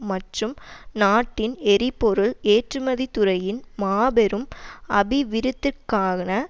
மற்றும் நாட்டின் எரிபொருள் ஏற்றுமதி துறையின் மாபெரும் அபிவிருத்திக்கான